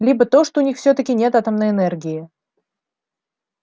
либо то что у них всё-таки нет атомной энергии